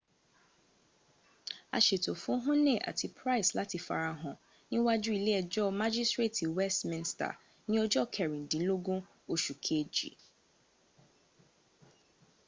a ṣètò fún huhne àti pryce láti farahàn níwájú ilé ẹjọ́ májísírètì westminster ní ọjọ́o kẹrìndínlógún oṣùu kejì